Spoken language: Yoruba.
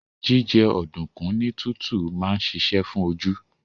Jíjẹ ọ̀dùnkún ní tútù máa ń ṣiṣẹ́ fún oju